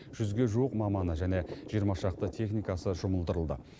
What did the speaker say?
жүзге жуық маманы және жиырма шақты техникасы жұмылдырылды